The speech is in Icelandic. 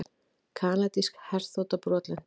Kanadísk herþota brotlenti